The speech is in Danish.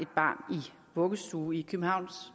vuggestue i københavns